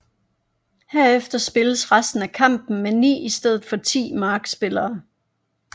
Herefter spilles resten af kampen med ni i stedet for ti markspillere